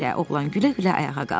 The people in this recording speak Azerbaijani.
oğlan gülə-gülə ayağa qalxdı.